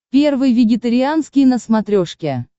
первый вегетарианский на смотрешке